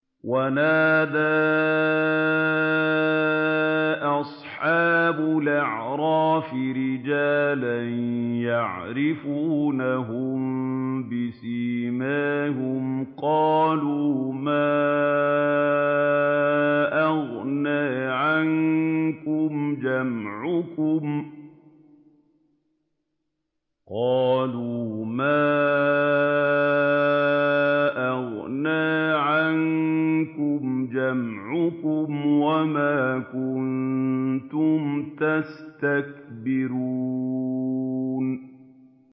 وَنَادَىٰ أَصْحَابُ الْأَعْرَافِ رِجَالًا يَعْرِفُونَهُم بِسِيمَاهُمْ قَالُوا مَا أَغْنَىٰ عَنكُمْ جَمْعُكُمْ وَمَا كُنتُمْ تَسْتَكْبِرُونَ